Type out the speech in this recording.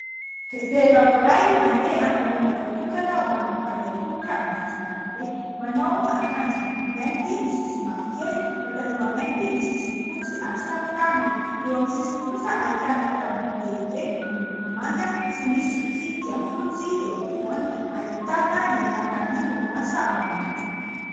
Vehivavy iray mandeha amin'ny lalana voatokana ho an'ny mpandeha an-tongotra amin'ny sisin'ny arabe, manao akanjo mainty misy sisiny mavokely, pataloha mainty misy sisiny fotsy ary satroka mainty. Eo amin'ny sisiny kosa ahitana tamboho lehibe miloko manga sy misy tsipika fotsy eo ampovoany, ahitana ny anaran'y orinasa ao anatiny.